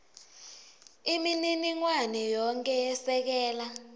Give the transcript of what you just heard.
imininingwane yonkhe yesekela